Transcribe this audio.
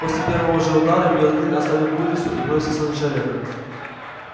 после первого же удара белый клык оставил курицу и бросился на человека